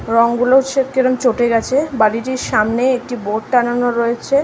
রং গুলো কেমন চোটে গাছে। বাড়ি টির সামনে একটি বোর্ড টাঙানো রয়েছে।